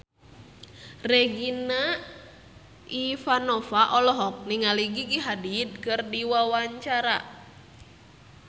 Regina Ivanova olohok ningali Gigi Hadid keur diwawancara